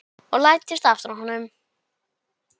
Og læddist aftan að honum.